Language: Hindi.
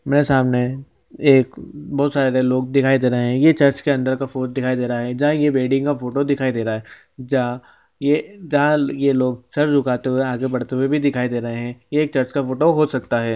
मेरे सामने एक बहुत सारे लोग दिखाई दे रहे है ये चर्च के अंदर का फोट दिखाई दे रहा है जहाँ ये वेडिंग का फोटो दिखाई दे रहा है जहाँ ये जहाँ ये लोग सर झुकाते हुए आगे बढ़ते हुए भी दिखाई दे रहे है ये एक चर्च का फोटो हो सकता हैं ।